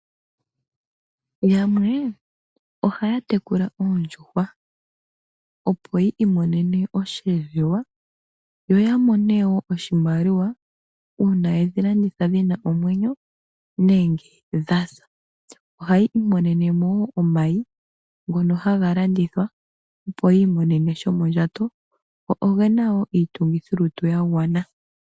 Yamwe ohaya tekula oondjuhwa opo yi imonene mo osheelelwa yo ya mone wo oshimaliwa uuna yedhi landitha dhina omwenyo nenge dhasa, ohayi imonene mo wo omayi ngono haga landithwa, opo yi imonene shomondjato go ogena wo iitungithilutu ya gwana.